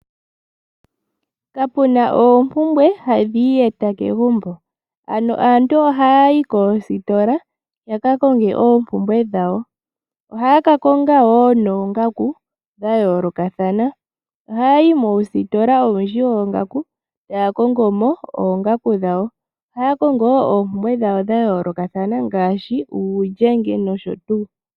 Kapuna oompumbwe ha dhi iiyeta kegumbo, ano aantu oha ya yi koositola yaka konge oompumbwe dhawo. Oha ya ka kongo woo noongangu dha yoolokathana, oha ya yi muusitola owundji woongaku, taya kongomo mo oongaku dhawo. Oha ya kongo oompumbwe dhawo dha yoolokathana ngaashi uulyenge nosho tuu.